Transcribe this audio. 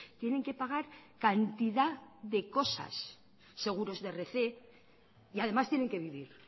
tienen que pagar cantidad de cosas seguros de rc y además tienen que vivir